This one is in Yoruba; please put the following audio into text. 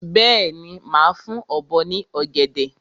Bẹ́ẹ̀ni, màá fún ọ̀bọ ní ọ̀gẹ̀dẹ̀.